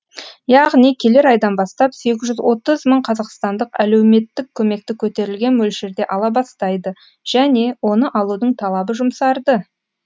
яғни келер айдан бастап сегіз жүз отыз мың қазақстандық әлеуметтік көмекті көтерілген мөлшерде ала бастайды және оны алудың талабы жұмсарды